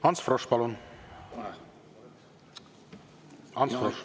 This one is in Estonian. Ants Frosch, palun!